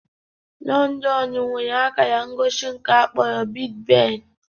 Londonu nwere akara ngosi nke akpọrọ "Big Ben".